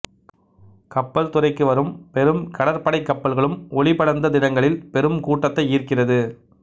கப்பல்துறைக்கு வரும் பெரும் கடற்படைக் கப்பல்களும் ஒளிபடர்ந்த தினங்களில் பெரும் கூட்டத்தை ஈர்க்கிறது